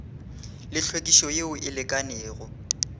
le hlwekišo yeo e lekanego